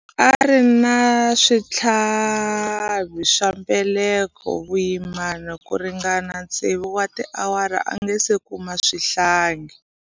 A ri na switlhavi swa mbeleko vuyimani ku ringana tsevu wa tiawara a nga si kuma xihlangi.